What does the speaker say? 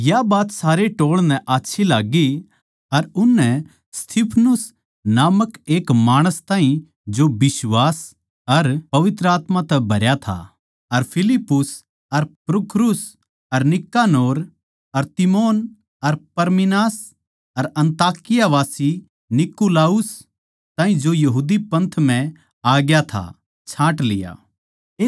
या बात सारे टोळ नै आच्छी लाग्गी अर उननै स्तिफनुस नामक एक माणस ताहीं जो बिश्वास अर पवित्र आत्मा तै भरया था अर फिलिप्पुस अर प्रुखुरुस अर नीकानोर अर तीमोन अर परमिनास अर अन्ताकियावासी नीकुलाउस ताहीं जो यहूदी पंथ म्ह आ ग्या था छाँट लिया